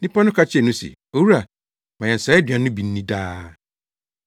Nnipa no ka kyerɛɛ no se, “Owura, ma yɛn saa aduan no bi nni daa.”